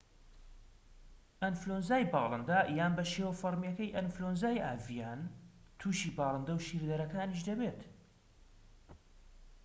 ئەنفلۆنزای باڵندە یان بە شێوە فەرمیەکەی ئەنفلۆنزای ئاڤیان توشی باڵندە و شیردەرەکانیش دەبێت